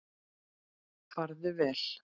Farðu vel.